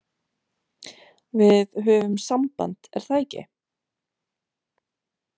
Við höfum samband, er það ekki?